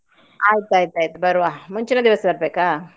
ಆಯ್ತಾಯ್ತಾತು ಬರುವ, ಮುಂಚಿನ ದಿವ್ಸ ಬರ್ಬೇಕಾ?